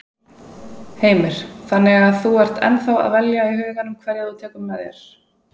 Heimir: Þannig að þú ert ennþá að velja í huganum hverja þú tekur með þér?